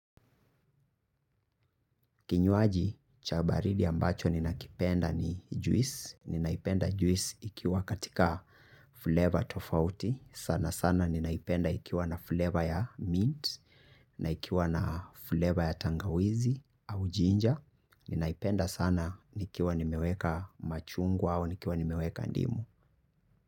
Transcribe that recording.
Kinywaji cha baridi ambacho ninakipenda ni juice. Ninaipenda juice ikiwa katika flavor tofauti. Sana sana ninaipenda ikiwa na flavor ya mint, na ikiwa na flavor ya tangawizi au ginger. Ninaipenda sana nikiwa nimeweka machungwa au nikiwa nimeweka ndimu.